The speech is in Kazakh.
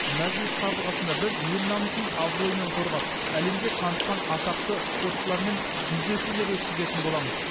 мәжіліс қабырғасында біз ел намысын абыроймен қорғап әлемге танытқан атақты спортшылармен жүздесулер өткізетін боламыз